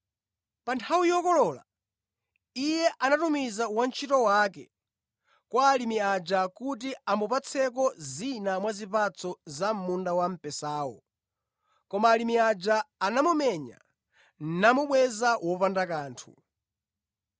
Pa nthawi yokolola, iye anatumiza wantchito wake kwa alimi aja kuti amupatseko zina mwa zipatso za munda wamphesawo. Koma alimi aja anamumenya namubweza wopanda kanthu.